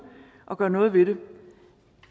og de gør noget ved det